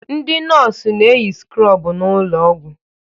Ndị nọọsụ na-eyi skrobụ n'ụlọ ọgwụ.